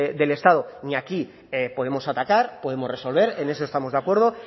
del estado ni aquí podemos atacar podemos resolver en eso estamos de acuerdo